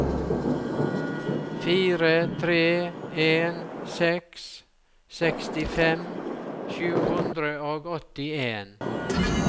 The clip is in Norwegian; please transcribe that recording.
fire tre en seks sekstifem sju hundre og åttien